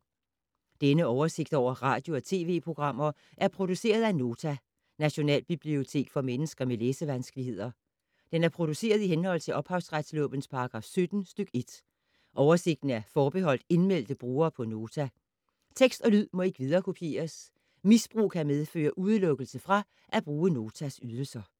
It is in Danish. Denne oversigt over radio og TV-programmer er produceret af Nota, Nationalbibliotek for mennesker med læsevanskeligheder. Den er produceret i henhold til ophavsretslovens paragraf 17 stk. 1. Oversigten er forbeholdt indmeldte brugere på Nota. Tekst og lyd må ikke viderekopieres. Misbrug kan medføre udelukkelse fra at bruge Notas ydelser.